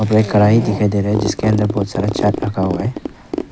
एक कढ़ाही दिखाई दे रहे जिसके अंदर बहोत सारा चाट रखा हुआ है